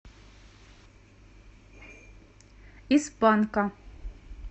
из панка